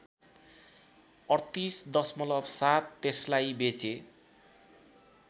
३८.७ त्यसलाई बेचे